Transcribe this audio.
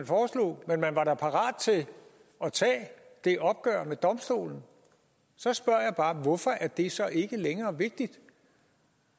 parat til at tage det opgør med domstolen så spørger jeg bare hvorfor er det så ikke længere vigtigt